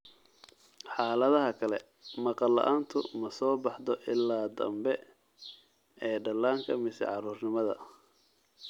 Xaaladaha kale, maqal la'aantu ma soo baxdo ilaa dambe ee dhallaanka mise carruurnimada.